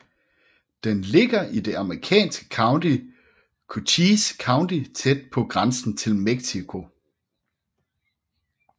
Den ligger i det amerikanske county Cochise County tæt på grænsen til Mexico